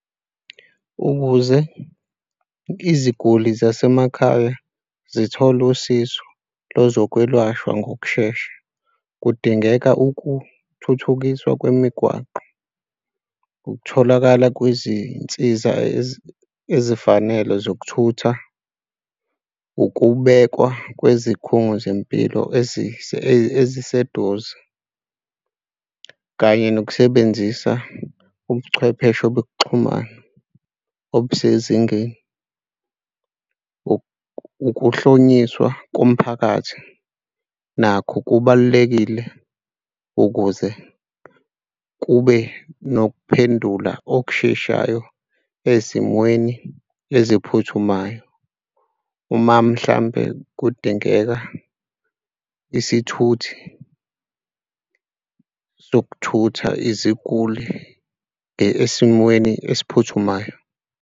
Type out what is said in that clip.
Ukuze iziguli zasemakhaya zithole usizo lezokwelashwa ngokushesha. Kudingeka ukuthuthukiswa kwemigwaqo ukutholakala kwezinsiza ezifanele zokuthutha, ukubekwa kwezikhungo zempilo, eziseduze kanye nokusebenzisa ubuchwepheshe obekuxhumana obusezingeni. Ukuhlonyiswa komphakathi nakho kubalulekile ukuze kube nokuphendula okusheshayo ezimweni eziphuthumayo uma mhlampe kudingeka isithuthi sokuthutha iziguli esimweni esiphuthumayo.